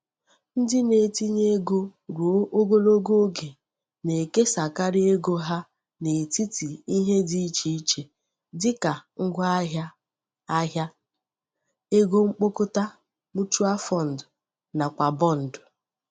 Ndị na-etinye ego ruo ogologo oge na-ekesakarị ego ha n'etiti ihe dị iche iche dị ka ngwaahịa ahịa, ego mkpokọta(mutual fund) nakwa bọndụ.